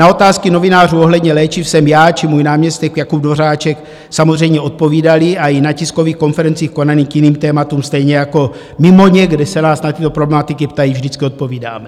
Na otázky novinářů ohledně léčiv jsme já či můj náměstek Jakub Dvořáček samozřejmě odpovídali a i na tiskových konferencích konaných k jiným tématům, stejně jako mimo ně, kde se nás na tyto problematiky ptají, vždycky odpovídáme.